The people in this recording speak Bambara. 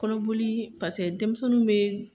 Kɔnɔboli paseke denmisɛnninw bɛ